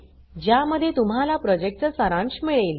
ज्यामध्ये तुम्हाला प्रॉजेक्टचा सारांश मिळेल